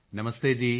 ਨਮਸਤੇ ਜੀ